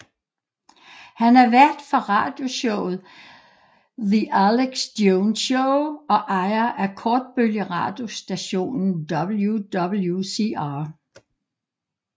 Han er vært for radioshowet The Alex Jones Show og ejer af kortbølgeradiostationen WWCR